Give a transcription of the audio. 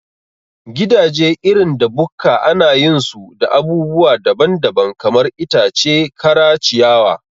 Gidaje irin da bukka anayin su da abubuwa daban daban, kamar itace kara, ciyawa